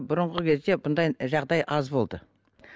бұрынғы кезде мұндай жағдай аз болды